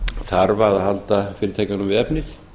þarf að halda fyrirtækjunum við efnið